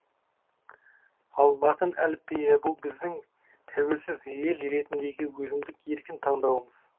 ал латын әліпбиі бұл біздің тәуелсіз ел ретіндегі өзіндік еркін таңдауымыз